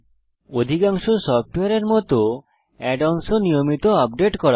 অধিকাংশ সফ্টওয়্যারের মত অ্যাড অনস ও নিয়মিত আপডেট করা হয়